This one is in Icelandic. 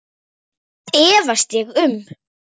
Það efast ég um.